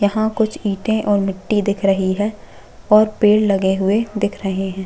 यहाँ कुछ ईंटे और मिट्टी दिख रही है और पेड़ लगे हुए दिख रहे है।